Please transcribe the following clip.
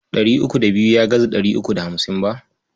Ɗari uku da biyu ya gaza ɗari uku da hamsin ba.